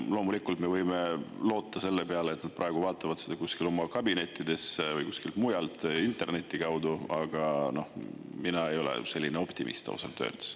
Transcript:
Loomulikult me võime loota selle peale, et nad praegu vaatavad seda kuskil oma kabinettides või kuskilt mujalt interneti kaudu, aga mina ei ole selline optimist ausalt öeldes.